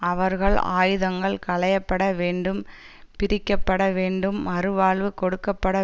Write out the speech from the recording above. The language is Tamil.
அவர்கள் ஆயுதங்கள் களையப்பட வேண்டும் பிரிக்க பட வேண்டும் மறு வாழ்வு கொடுக்க பட